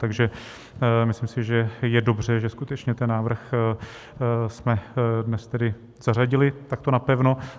Takže si myslím, že je dobře, že skutečně ten návrh jsme dnes tedy zařadili takto napevno.